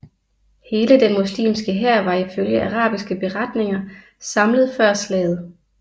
Hele den muslimske hær var ifølge arabiske beretninger samlet før slaget